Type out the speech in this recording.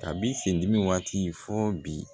Kabi sendimi waati fɔ bi